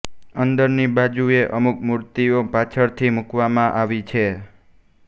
અંદરની બાજુએ અમુક મૂર્તિઓ પાછળથી મૂકવામાં આવી છે